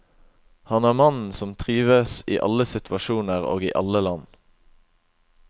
Han er mannen som trives i alle situasjoner og i alle land.